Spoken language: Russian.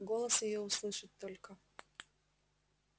голос её услышать только